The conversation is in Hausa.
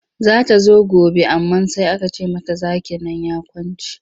Za ta zo gobe amma sai aka ce mata zakin nan ya kwance.